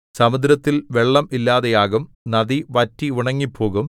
സമുദ്രത്തിൽ വെള്ളം ഇല്ലാതെയാകും നദി വറ്റി ഉണങ്ങിപ്പോകും